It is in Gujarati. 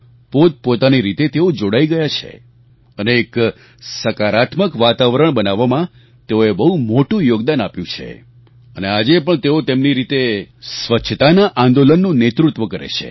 પોતપોતાની રીતે તેઓ જોડાઈ ગયા છે અને એક સકારાત્મક વાતાવરણ બનાવવામાં તેઓએ બહુ મોટું યોગદાન આપ્યું છે અને આજે પણ તેઓ તેમની રીતે સ્વચ્છતાના આંદોલનનું નેતૃત્વ કરે છે